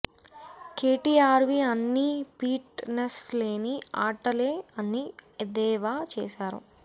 కేటీఆర్వి అన్నీ fitness లేని ఆటలే అని ఎద్దేవా చేశారు